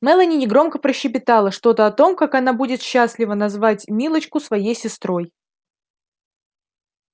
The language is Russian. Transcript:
мелани негромко прощебетала что-то о том как она будет счастлива назвать милочку своей сестрой